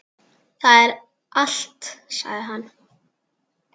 Það er allt, sagði hann.